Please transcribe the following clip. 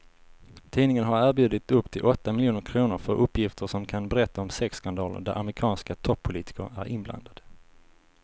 Tidningen har erbjudit upp till åtta miljoner kr för uppgifter som kan berätta om sexskandaler där amerikanska toppolitiker är inblandade.